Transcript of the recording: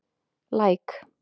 Læk